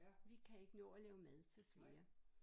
Vi kan ikke nå at lave mad til flere